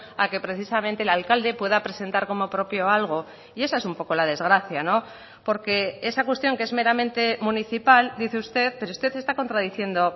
a que precisamente el alcalde pueda presentar como propio algo y esa es un poco la desgracia porque esa cuestión que es meramente municipal dice usted pero usted está contradiciendo